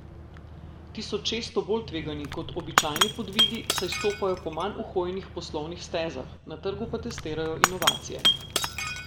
Ti so često bolj tvegani kot običajni podvigi, saj stopajo po manj uhojenih poslovnih stezah, na trgu pa testirajo inovacije.